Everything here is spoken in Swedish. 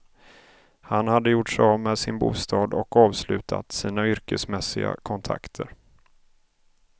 Han hade gjort sig av med sin bostad och avslutat sina yrkesmässiga kontakter.